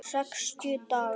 Sextíu dagar?